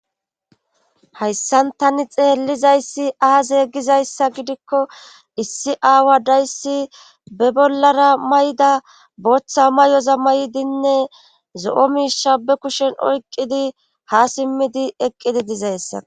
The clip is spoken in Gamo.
hayssan tani xeellizayssi aazee gizayssa gidikko issi aawa dayssi be bollara may7da booththa may7oza may7dinne zo7o miisha be kushen oyqqidi ha simmidi eqqidi dizayssa